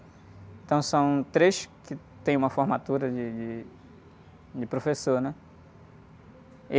Então são três que têm uma formatura de, de, de professor, né?